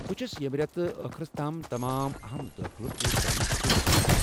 بہٕ چُھس یمہ رٮ۪تہٕ کس ٲخٕرس تام تمام اہم دٲخلہٕ پوٗرٕ كرنٕچہِ كوٗشِش كران ۔